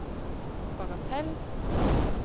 bagatell